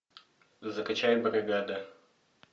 закачай бригада